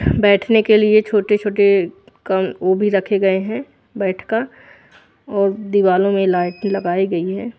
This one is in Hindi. बैठ ने के लिए छोटे छोटे कम वो भी रखे गए है बेड का और दिवालो में लाइट लगाई गयी है।